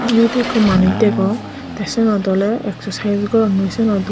eyot ekku manuj degong teh senot oley exercises goron noi senot o.